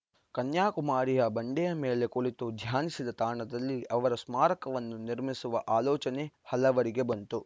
ಕನ್ಯಾಕುಮಾರಿಯ ಬಂಡೆಯಮೇಲೆ ಕುಳಿತು ಧ್ಯಾನಿಸಿದ ತಾಣದಲ್ಲಿ ಅವರ ಸ್ಮಾರಕವನ್ನು ನಿರ್ಮಿಸುವ ಆಲೋಚನೆ ಹಲವರಿಗೆ ಬಂತು